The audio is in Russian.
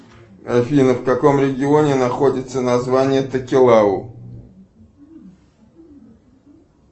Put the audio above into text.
афина в каком регионе находится название такелау